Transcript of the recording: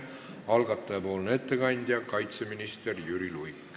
Algataja ettekandja on kaitseminister Jüri Luik.